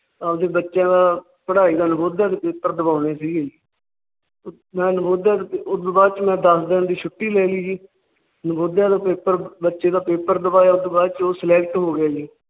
ਆਪਣੇ ਬੱਚਿਆਂ ਦਾ ਪੜਾਈ ਦਾ ਨਵੋਦਿਆ ਦੇ Paper ਦਵਾਣੇ ਸੀ ਗੇ । ਮੈ ਨਵੋਦਿਆ ਦੇ ਉਸ ਤੋਂ ਬਾਦ ਮੈ ਦੱਸ ਦਿਨ ਦੀ ਛੁੱਟੀ ਲੈ ਲਈ ਜੀ । ਨਵੋਦਿਆ ਦੇ Paper ਬੱਚੇ ਦਾ Paper ਦਵਾਇਆ ਉਸ ਤੋਂ ਬਾਅਦ ਉਹ Select ਹੋ ਗਏ ਸੀ